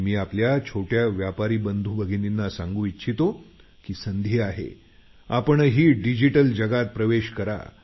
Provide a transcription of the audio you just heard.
मी आपल्या छोट्या बंधुभगिनींना सांगू इच्छितो की संधी आहे आपणही डिजिटल जगात प्रवेश करा